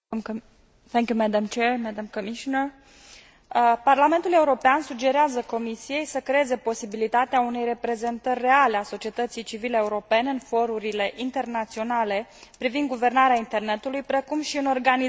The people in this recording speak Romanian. Parlamentul European sugerează Comisiei să creeze posibilitatea unei reprezentări reale a societății civile europene în forurile internaționale privind guvernarea internetului precum și în organizațiile sau consorțiile pentru standardizarea pe internet.